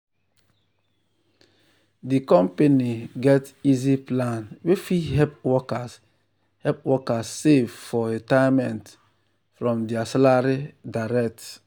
di company get easy plan wey fit help workers help workers save for retirement from their salary direct.